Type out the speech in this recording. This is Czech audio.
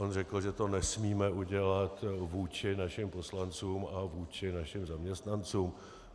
On řekl, že to nesmíme udělat vůči našim poslancům a vůči našim zaměstnancům.